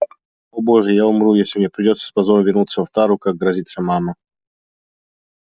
о боже я умру если мне придётся с позором вернуться в тару как грозится мама